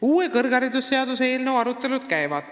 Uue kõrgharidusseaduse eelnõu arutelud käivad.